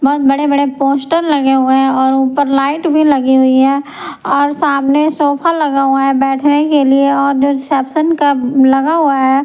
बहुत बड़े-बड़े पोस्टर लगे हुए हैं और ऊपर लाइट भी लगी हुई हैऔर सामने सोफा लगा हुआ हैबैठने के लिए और जो रिसेप्शन का लगा हुआ है।